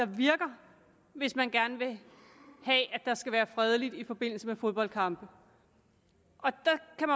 virker hvis man gerne vil have at der skal være fredeligt i forbindelse med fodboldkampe